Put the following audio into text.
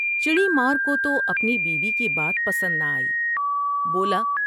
چڑی مارکوتو اپنی بیوی کی بات پسند نہ آئی ، بولا ۔